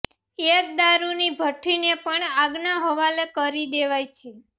એક દારૂની ભટ્ટીને પણ આગનાં હવાલે કરી દેવાઈ છે